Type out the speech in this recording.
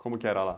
Como que era lá?